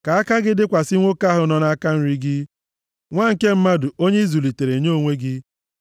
Ka aka gị dịkwasị nwoke ahụ nọ nʼaka nri gị, nwa nke mmadụ onye ị zụlitere nye onwe gị.